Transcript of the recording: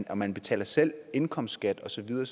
og man betaler selv indkomstskat og så videre